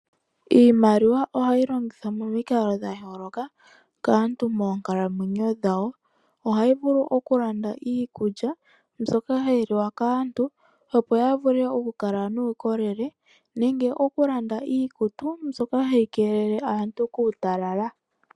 Iimaliwa ohayi longithwa momikalo dha yooloka kaantu moonkalamwenyo dhawo. Ohayi vulu oku landa iikulya mbyoka hayi liwa kaantu, opo ya vule oku kala nuukolele nenge oku landa iikutu mbyoka hayi keelele aantu kuutalala.